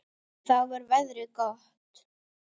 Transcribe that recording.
Þá var veðrið orðið gott.